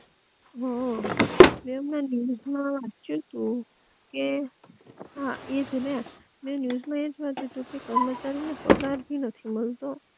હઅ, મે હમણા ન્યુજ માં વાંચ્યું, કે હા એજ ને મે ન્યુજ એ જ વાંચ્યું તું કે કર્મચારી ને પગાર ભી નથી મલતો